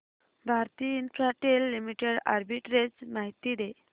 Bharti Infratel Limited arbitrage माहिती दे